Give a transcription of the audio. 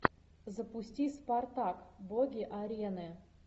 запусти спартак боги арены